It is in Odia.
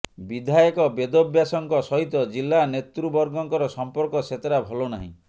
ବିଧାୟକ ବେଦବ୍ୟାସଙ୍କ ସହିତ ଜିଲ୍ଲା ନେତୃବର୍ଗଙ୍କର ସଂପର୍କ ସେତେଟା ଭଲ ନାହିଁ